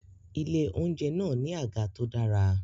Ilé-oúnjẹ náà ní àga tó dára